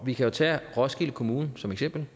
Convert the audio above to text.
vi kan jo tage roskilde kommune som eksempel